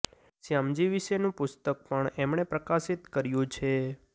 શ્યામજી વિશેનું પુસ્તક પણ એમણે પ્રકાશિત કર્યુ છે